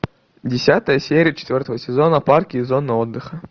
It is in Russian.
десятая серия четвертого сезона парки и зоны отдыха